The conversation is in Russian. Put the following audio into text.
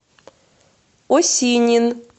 осинин